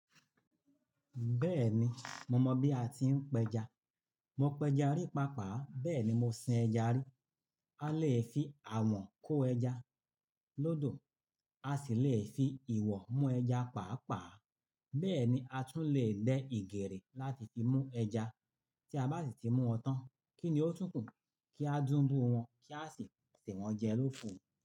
Bẹ́ẹ̀ni, mo mọ̀ bí a ti ń pẹja. Mo pẹja rí pàápàá, bẹ́ẹ̀ ni mo sin eja rí. A lè fi awọ̀n kó ẹja lọ́dọ̀, a sì lè fi ìwọ̀ mú ẹja pàápàá. Bẹ́ẹ̀ ni, a tún lè lẹ ìgèrè láti fi mú ẹja. Tí a bá sì ti mú wọn tán, kí ni ó tún kù kí a dúbù wọ́n kí a sì fi sè wọ́n jẹ lóku u.